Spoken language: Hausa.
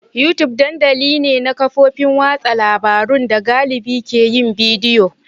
YouTube dandamali ne na kafofin watsa labarun da galibi ke yin bidiyo.